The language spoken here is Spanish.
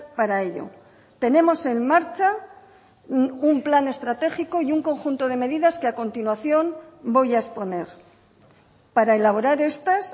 para ello tenemos en marcha un plan estratégico y un conjunto de medidas que a continuación voy a exponer para elaborar estas